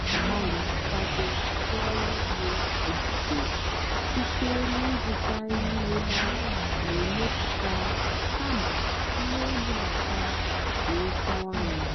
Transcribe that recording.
m nà-àgbàlị́ ị́kwàdó ndí ọ́rụ́ ùgbó óbòdò síte n'ị́zụ́tá íhé há nà-èmepụ́tá kàmà íhé ìbúbátá dì óké ónú.